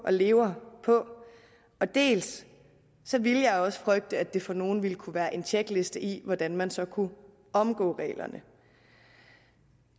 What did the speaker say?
og lever på dels ville jeg også frygte at det for nogle ville kunne være en tjekliste i hvordan man så kunne omgå reglerne